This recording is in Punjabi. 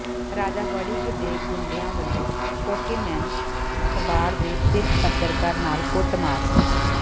ਰਾਜਾ ਵੜਿੰਗ ਦੇ ਗੁੰਡਿਆਂ ਵੱਲੋਂ ਸਪੋਕੇਮੈਨ ਅਖਬਾਰ ਦੇ ਸਿੱਖ ਪੱਤਰਕਾਰ ਨਾਲ ਕੁੱਟਮਾਰ